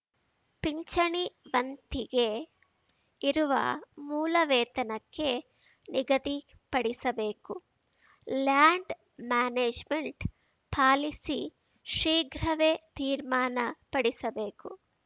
ಪಿಂಚಣಿ ವಂತಿಗೆ ಇರುವ ಮೂಲ ವೇತನಕ್ಕೆ ನಿಗದಿಪಡಿಸಬೇಕು ಲ್ಯಾಂಡ್‌ ಮ್ಯಾನೇಜ್‌ಮೆಂಟ್‌ ಪಾಲಿಸಿ ಶೀಘ್ರವೇ ತೀರ್ಮಾನಪಡಿಸಬೇಕು